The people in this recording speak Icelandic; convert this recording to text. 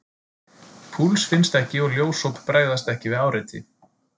Púls finnst ekki og ljósop bregðast ekki við áreiti.